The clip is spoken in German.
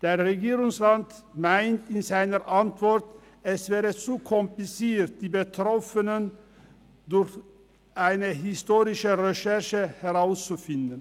Der Regierungsrat meint in seiner Antwort, es wäre zu kompliziert, die Betroffenen durch eine historische Recherche ausfindig zu machen.